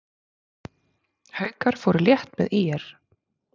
Haukar fóru létt með ÍR